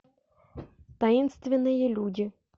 таинственные люди